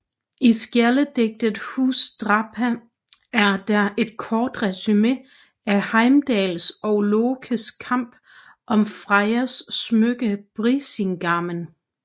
I skjaldedigtet Húsdrápa er der et kort resumé af Heimdalls og Lokes kamp om Frejas smykke Brísingamen